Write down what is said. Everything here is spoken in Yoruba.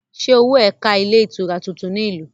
Ṣé owó ẹ ká ilé-itura tuntun ní ìlú?